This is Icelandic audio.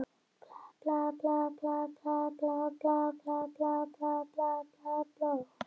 Þeir óttast líka hugsanlega að verða háðir maka sínum og þar með auðsæranlegir og ósjálfstæðir.